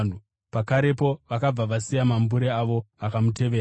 Pakarepo vakabva vasiya mambure avo, vakamutevera.